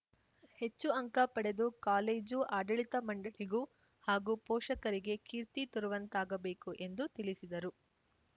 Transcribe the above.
ಹೆಚ್ಚು ಅಂಕ ಪಡೆದು ಕಾಲೇಜು ಆಡಳಿತ ಮಂಡಳಿಗೂ ಹಾಗೂ ಪೋಷಕರಿಗೆ ಕೀರ್ತಿ ತರುವಂತಾಗಬೇಕು ಎಂದು ತಿಳಿಸಿದರು